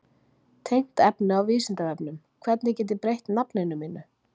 Tengt efni á Vísindavefnum: Hvernig get ég breytt nafninu mínu?